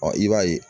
i b'a ye